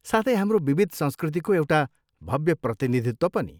साथै, हाम्रो विविध संस्कृतिको एउटा भव्य प्रतिनिधित्व पनि।